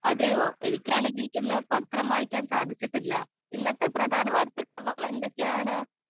speaker 2 അതെയോ എനിക്കാണെങ്കിൽ ഇന്ന് പത്രം വായിക്കാൻ സാധിച്ചിട്ടില്ല ഇന്നത്തെ പ്രധാന വാർത്തകൾ എന്തൊക്കെയാണ്